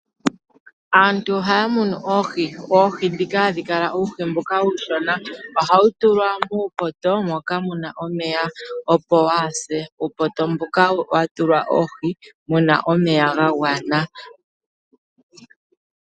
Aantu ohaa munu oohi, oohi ndhoka hadhi kala uuhi mbuka uushona. Ohawu tulwa muupoto moka mu na omeya, opo waa se. Uupoto mbuka ohawu tulwa oohi mu na omeya ga gwana.